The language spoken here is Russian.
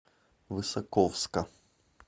высоковска